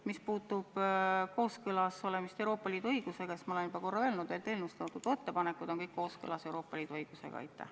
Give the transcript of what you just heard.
Mis puutub kooskõlla Euroopa Liidu õigusega, siis ma olen juba korra öelnud, et eelnõus toodud ettepanekud on kõik kooskõlas Euroopa Liidu õigusega.